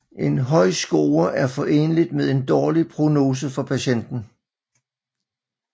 En høj score er foreneligt med en dårlig prognose for patienten